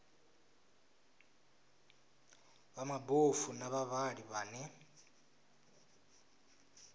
vha mabofu na vhavhali vhane